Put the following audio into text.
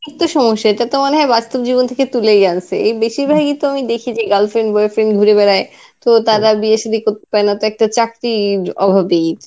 সমস্যা, এটা তো মনেহয় বাস্তব জীবন থেকে তুলেই আনসে. এর বেশিরভাগই তো আমি দেখি তো girl friend boy friend ঘরে বেড়ায়. তো তার আর বিয়ে সাদি করতে দেয় না একটা চাকরির অভাবে.